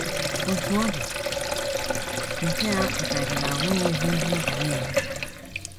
Otú ọ dị, nke a apụtaghị na o nweghịzi ihe ị ga na - eme.